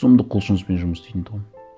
сұмдық құлшыныспен жұмыс істейтін тұғым